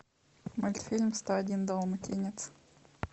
мультфильм сто один далматинец